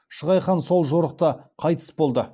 шығай хан сол жорықта қайтыс болды